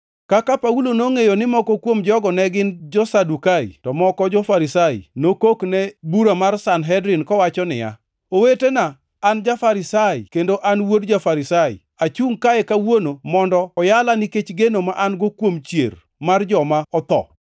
Kaka Paulo nongʼeyo ni moko kuom jogo ne gin jo-Sadukai, to moko jo-Farisai, nokok ne bura mar Sanhedrin kowacho niya, “Owetena, an ja-Farisai kendo an wuod ja-Farisai. Achungʼ kae kawuono mondo oyala nikech geno ma an-go kuom chier mar joma otho!”